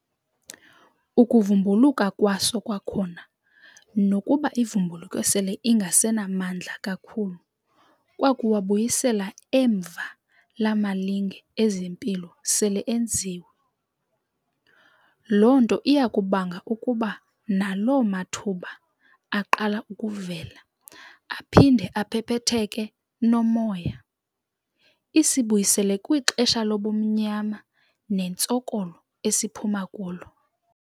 Ukuvumbuluka kwaso kwakhona nokuba ivumbuluke sele ingasenamandla kakhulu kwakuwabuyisela emva la malinge ezempilo sele enziwe. Lo nto iyakubanga ukuba nalo mathuba aqala ukuvela aphinde aphephetheke nomoya, isibuyisele kwixesha lobumnyama nentsokolo esiphuma kulo.